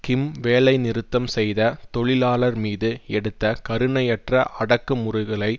கிம் வேலை நிறுத்தம் செய்த தொழிலாளர் மீது எடுத்த கருணையற்ற அடக்குமுறுகளை